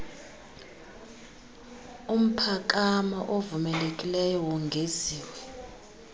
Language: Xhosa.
umphakamo ovumelekileyo wongeziwe